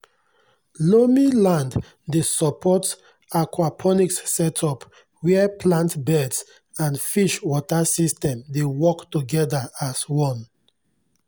loamy land dey support aquaponics setup where plant beds and fish water system dey work together as one.